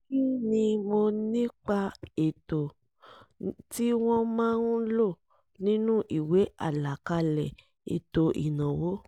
kí ni mo nípa ètò tí wọ́n máa ń lò nínú ìwé àlàkalẹ̀ ètò ìnáwó